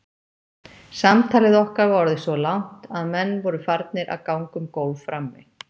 Samtalið okkar var orðið svo langt að menn voru farnir að ganga um gólf frammi.